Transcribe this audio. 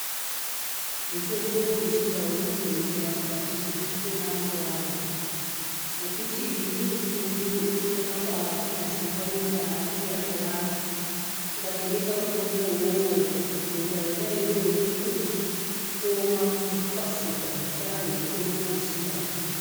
Mitombo yechindau inodetsera mukati mwekupona mwevanthu, ngokuti imweni mitombo inotorapa maronda kunyazi maronda anenge ane vanthu. Ukatobeka mutombowo uwowo ronda rona iroro rinotooma ngekukasika ngendaa yemutombo wechindau.